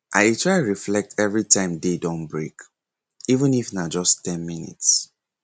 i dey try reflect everytime day don break even if na just ten minutes